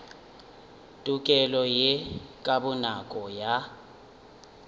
tokelo ye ka bonako ya